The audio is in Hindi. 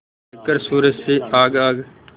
लेकर सूरज से आग आग